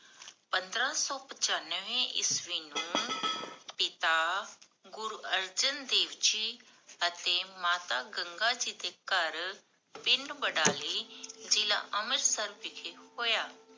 ਪੰਦਰਾਂ ਸੋ ਪਚਾਨਵੇ ਈਸਵੀ ਨੂੰ ਪਿਤਾ ਗੁਰੂ ਅਰਜਨ ਦੇਵ ਜੀ ਅਤੇ ਮਾਤਾ ਗੰਗਾ ਜੀ ਦੇ ਘਰ ਪਿੰਡ ਬਡਾਲੀ, ਜਿਲ੍ਲਾ ਅੰਮ੍ਰਿਤਸਰ ਵਿਖੇ ਹੋਇਆ।